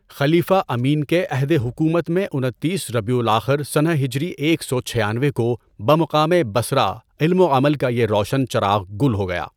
خلیفہ امین کے عہدِ حکومت میں انتیس ربیع الآخر سنہ ہجری ایک سو چھیانوے کو بمقامِ بصرہ علم وعمل کا یہ روشن چراغ گل ہو گیا۔